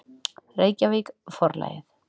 Reykjavík, Forlagið.